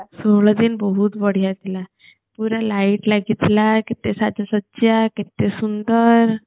ଷୋହଳ ଦିନ ବହୁତ ବଢିଆ ଥିଲା ପୁରା light ଲାଗିଥିଲା କେତେ ସାଜ୍ୟସଜା କେତେ ସୁନ୍ଦର